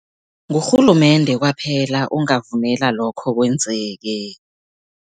Ngurhulumende kwaphela ongavumela lokho kwenzeke.